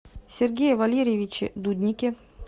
сергее валерьевиче дуднике